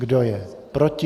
Kdo je proti?